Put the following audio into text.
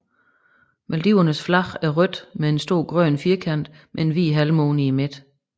Maldivernes flag er rødt med en stor grøn firkant med en hvid halvmåne i midten